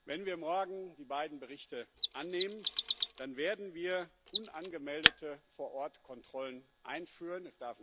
Wenn wir morgen die beiden Berichte annehmen, dann werden wir unangemeldete Vor-Ort-Kontrollen einführen.